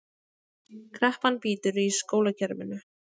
Kreppan bítur í skólakerfinu